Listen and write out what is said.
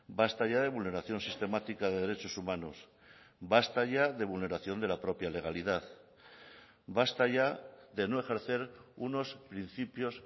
basta ya de vulneración sistemática de derechos humanos basta ya de vulneración de la propia legalidad basta ya de no ejercer unos principios